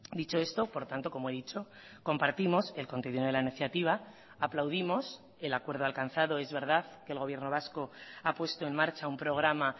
dicho esto por tanto como he dicho compartimos el contenido de la iniciativa aplaudimos el acuerdo alcanzado es verdad que el gobierno vasco ha puesto en marcha un programa